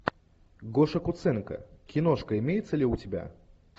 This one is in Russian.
гоша куценко киношка имеется ли у тебя